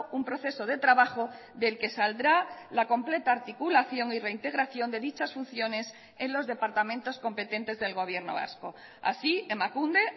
un proceso de trabajo del que saldrá la completa articulación y reintegración de dichas funciones en los departamentos competentes del gobierno vasco así emakunde